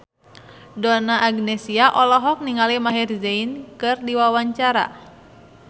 Donna Agnesia olohok ningali Maher Zein keur diwawancara